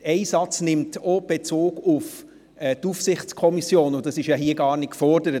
En Satz nimmt auch Bezug auf die Aufsichtskommissionen, und das wird hier ja gar nicht gefordert.